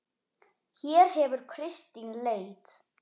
Hér hefur Kristín leit.